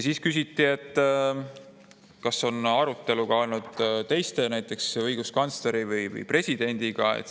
Veel küsiti, kas on olnud arutelu teistega, näiteks õiguskantsleri või presidendiga.